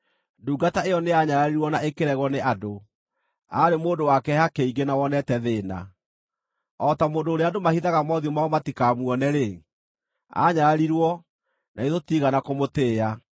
Ndungata ĩyo nĩyanyararirwo na ĩkĩregwo nĩ andũ, aarĩ mũndũ wa kĩeha kĩingĩ na wonete thĩĩna. O ta mũndũ ũrĩa andũ mahithaga mothiũ mao matikamuone-rĩ, aanyararirwo, na ithuĩ tũtiigana kũmũtĩĩa.